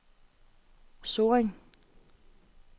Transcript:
Sorring